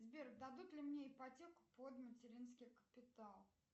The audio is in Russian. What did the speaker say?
сбер дадут ли мне ипотеку под материнский капитал